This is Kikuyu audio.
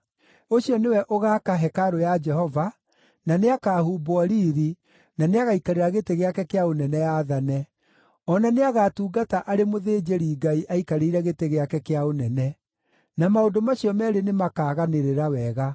Ũcio nĩwe ũgaaka hekarũ ya Jehova, na nĩakahumbwo riiri, na nĩagaikarĩra gĩtĩ gĩake kĩa ũnene aathane. O na nĩagatungata arĩ mũthĩnjĩri-Ngai aikarĩire gĩtĩ gĩake kĩa ũnene; na maũndũ macio meerĩ nĩmakaganĩrĩra wega.’